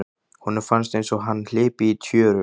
Honum fannst einsog hann hlypi í tjöru.